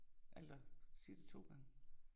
Eller siger det to gange